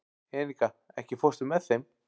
Enika, ekki fórstu með þeim?